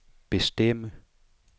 bestemme